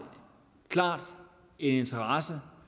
klar interesse